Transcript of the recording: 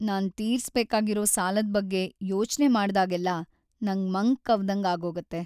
ನಾನ್ ತೀರ್ಸ್ ಬೇಕಾಗಿರೋ ಸಾಲದ್ ಬಗ್ಗೆ ಯೋಚ್ನೆ ಮಾಡ್ದಾಗೆಲ್ಲ ನಂಗ್ ಮಂಕ್‌ ಕವ್ದಂಗ್‌ ಆಗೋಗತ್ತೆ.